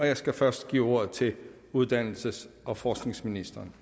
jeg skal først give ordet til uddannelses og forskningsministeren